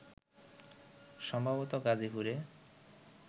সম্ভবত গাজীপুরে